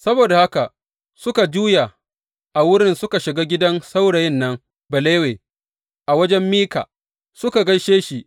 Saboda haka suka juya a wurin suka shiga gidan saurayin nan Balawe a wajen Mika suka gaishe shi.